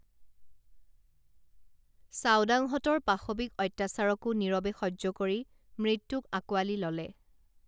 চাওদাংহঁতৰ পাশৱিক আত্যাচাৰকো নীৰবে সহ্য কৰি মৃত্যুক আঁকোৱালী ললে